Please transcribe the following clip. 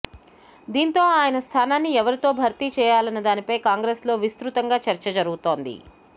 దీంతో ఆయన స్థానాన్ని ఎవరితో భర్తీ చేయాలన్నదానిపై కాంగ్రెస్లో విస్తృతంగా చర్చ జరుగుతోంది